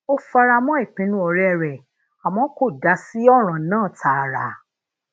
ó fara mó ìpinnu òré rè àmó kò dá sí òràn náà taara